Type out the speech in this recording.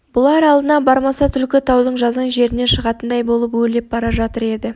бұлар алдынан бармаса түлкі таудың жазаң жерінен шығатындай болып өрлеп бара жатыр еді